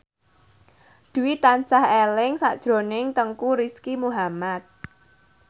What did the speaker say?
Dwi tansah eling sakjroning Teuku Rizky Muhammad